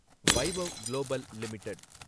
Vaibhav global limited